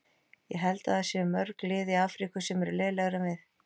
Ég held að það séu mörg lið í Afríku sem eru lélegri en við.